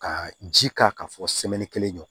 Ka ji k'a kan fɔ kelen ɲɔn